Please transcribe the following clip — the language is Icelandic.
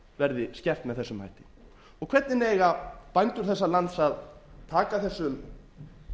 verði skert með þessum hætti hvernig eiga bændur þessa lands að taka þessum